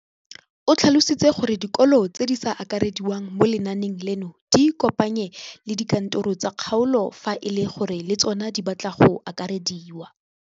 O tlhalositse gore dikolo tse di sa akarediwang mo lenaaneng leno di ikopanye le dikantoro tsa kgaolo fa e le gore le tsona di batla go akarediwa.